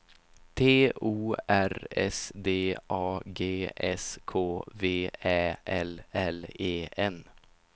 T O R S D A G S K V Ä L L E N